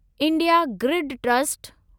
India grid trust